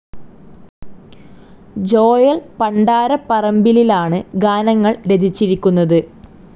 Joel പണ്ടാരപ്പറമ്പിലിലാണ് ഗാനങ്ങൾ രചിച്ചിരിക്കുന്നത്.